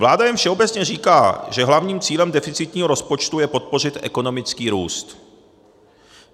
Vláda jen všeobecně říká, že hlavním cílem deficitního rozpočtu je podpořit ekonomický růst.